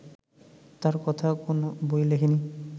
তার কথা কোন বইয়ে লেখে নি